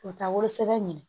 U bɛ taa wolosɛbɛn ɲini